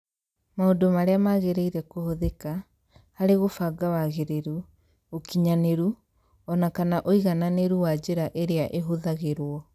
Maũndũ marĩa magĩrĩire kũhũthĩka, harĩ gũbanga wagĩrĩru, ũkinyanĩru, o na kana ũigananĩru wa njĩra iria ihũthagĩrũo.